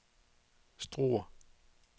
Struer